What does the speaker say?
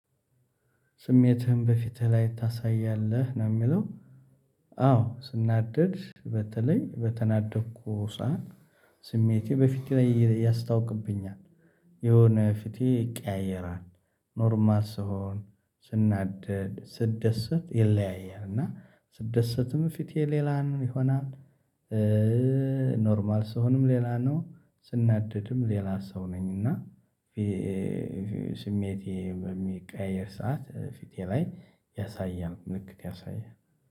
ስሜትህን በፊትህ ላይ ታሳያለህ ነው የሚለው? አዎ ስናደድ በተለይ በተናደድኩ ሳዓት ስሜቴ በፊቴ ላይ እያስታውቅብኛል። የሆነ ፊቴ ይቀያየራል። ኖርማል ስሆን ስናደድ ስትደሰት ይለያያል እና ስደሰትም ፊቴ ሌላን ይሆናል። ኖርማል ስሆንም ሌላ ነው ስናደድም ሌላ ሰው ነኝና። ስሜቴ በሚቀየር ሰዓት ፊቴ ላይ ያሳየን ምልክት ያሳየን